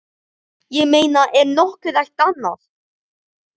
Ég meina er nokkuð hægt annað?